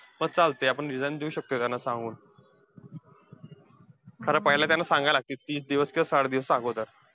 पण चालतंय. आपण resign देऊ शकतोय त्यांना सांगून. खरं पाहिलं त्यांना सांगाया लागतंय, तीस दिवस किंवा साठ दिवसाअगोदर.